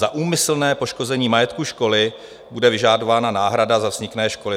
Za úmyslné poškození majetku školy bude vyžadována náhrada za vzniklé škody."